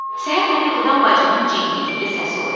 Səhər məni yuxudan bacımın cingiltili səsi oyatdı.